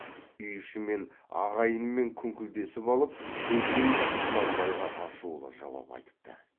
үй ішімен ағайынымен күңкілдесіп алып бөжей құнанбайға ашулы жауап айтыпты